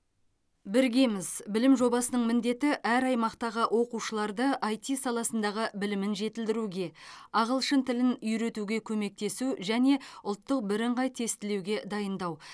біргеміз білім жобасының міндеті әр аймақтағы оқушыларды іт саласындағы білімін жетілдіруге ағылшын тілін үйретуге көмектесу және ұлттық бірыңғай тестілеуге дайындау